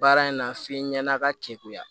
Baara in na f'i ɲɛn'a ka kekuya